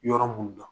Yɔrɔ mun na